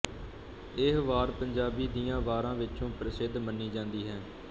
ਇਹ ਵਾਰ ਪੰਜਾਬੀ ਦੀਆਂ ਵਾਰਾਂ ਵਿੱਚੋਂ ਪ੍ਰਸਿੱਧ ਮੰਨੀ ਜਾਂਦੀ ਹੈ